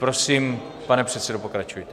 Prosím, pane předsedo, pokračujte.